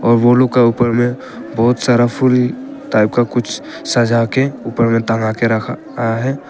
और वो लोग का ऊपर में बहुत सारा फुल टाइप का कुछ सजा के ऊपर में टंगा के रखा है।